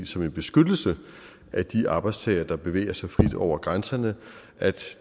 som en beskyttelse af de arbejdstagere der bevæger sig frit over grænserne at